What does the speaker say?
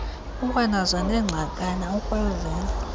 ukwanazo neengxakana ukwazile